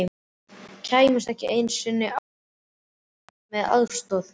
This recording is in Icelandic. Kæmist ekki einu sinni á klósett nema með aðstoð.